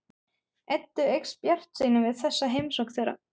Eddu eykst bjartsýni við þessa heimsókn þeirra.